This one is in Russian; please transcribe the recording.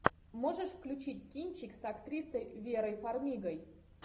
можешь включить кинчик с актрисой верой фармигой